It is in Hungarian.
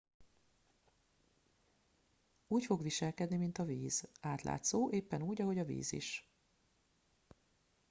úgy fog viselkedni mint a víz átlátszó éppen úgy ahogy a víz is